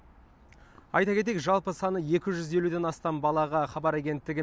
айта кетейік жалпы саны екі жүз елуден астам балаға хабар агенттігі